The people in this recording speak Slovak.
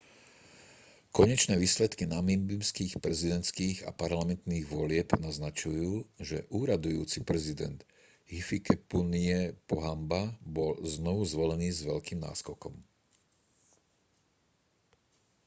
konečné výsledky namíbijských prezidentských a parlamentných volieb naznačujú že úradujúci prezident hifikepunye pohamba bol znovu zvolený s veľkým náskokom